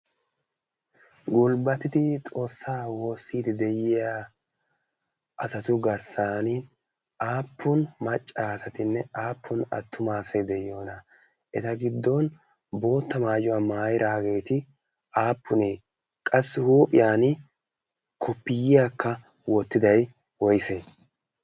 gulbbatidi xoossaa woossiidi de'iya asatu garssan aappun macca asatinne aappun attumaa asati de'iyoona? eta giddon bootta maayuwaa maayiraageeti aappunee ? qassi huuphiyan kupiyiyaakka woottidai woise?